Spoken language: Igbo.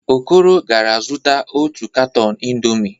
Okoro gara zụta otu katọn indọmii.